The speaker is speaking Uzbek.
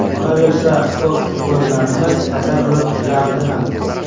Qolaversa, ko‘p futbolchilarimiz kasal bo‘lib tuzaldi ham.